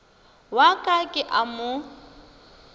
wa ka ke a mo